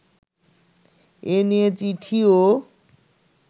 এ নিয়ে চিঠিও